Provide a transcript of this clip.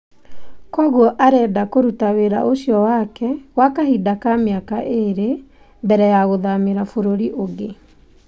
Kwoguo arenda kũruta wĩra ũcio wake gwa kahinda ka mĩaka ĩrĩ mbere ya gũthamira bũrũri ũngĩ.